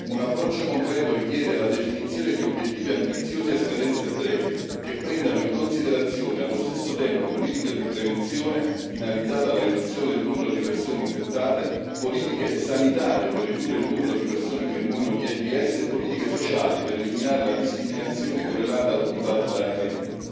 Un approccio concreto richiede la definizione di obiettivi ambiziosi a scadenze brevi che prendano in considerazione, allo stesso tempo, politiche di prevenzione finalizzate alla riduzione del numero di persone infettate, politiche sanitarie per ridurre il numero di persone che muoiono di AIDS e politiche sociali per eliminare la discriminazione correlata al contagio da HIV.